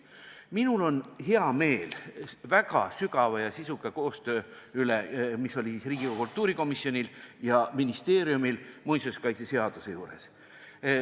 Minul on hea meel väga sügava ja sisuka koostöö üle, mis oli Riigikogu kultuurikomisjonil ja ministeeriumil muinsuskaitseseadust arutades.